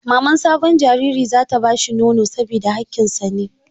Maman sabon jariri za ta ba shi nono saboda hakkin sa ne.